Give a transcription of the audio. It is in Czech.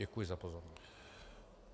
Děkuji za pozornost.